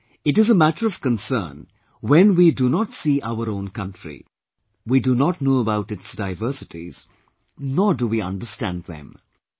But, it is a matter of concern when we do not see our own country, we do not know about its diversities nor do we understand them